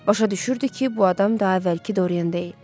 Başa düşürdü ki, bu adam daha əvvəlki Dorian deyil.